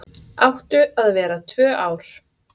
Áttu að vera tvö ár